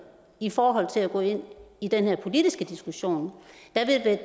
i forhold til at gå ind i den her politiske diskussion